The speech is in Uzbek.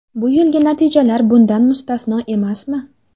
Bu yilgi natijalar bundan mustasno emasmi?